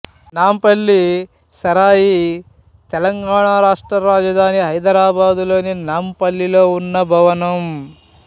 నాంపల్లి సరాయి తెలంగాణ రాష్ట్ర రాజధాని హైదరాబాదులోని నాంపల్లిలో ఉన్న భవనం